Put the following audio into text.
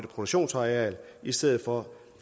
produktionsareal i stedet for